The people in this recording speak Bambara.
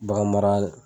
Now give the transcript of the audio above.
Bagan mara